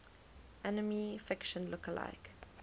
anime fiction lookalike